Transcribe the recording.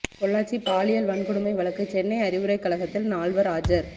பொள்ளாச்சி பாலியல் வன்கொடுமை வழக்கு சென்னை அறிவுரை கழகத்தில் நால்வர் ஆஜர்